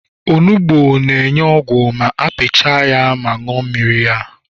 onugbu na-enye ogwu ma apiapia ya ma rie ya mmiri